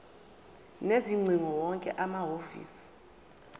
sezingcingo wonke amahhovisi